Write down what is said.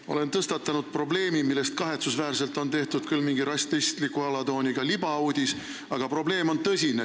Ma olen tõstatanud probleemi, millest kahetsusväärselt on tehtud küll mingi rassistliku alatooniga libauudis, aga probleem on tõsine.